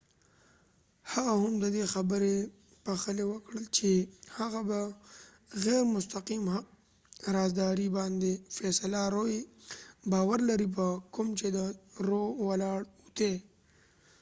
هغه هم ددې خبری پخلی وکړ چې هغه په غیر مستقیم حق د رازداری باندي باور لري په کوم چې د روroe فیصله ولاړه ده